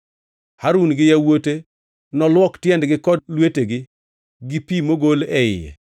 Harun gi yawuote noluok tiendegi kod lwetegi gi pi mogol e iye.